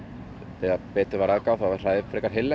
þegar betur var að gáð þá var hræið frekar heillegt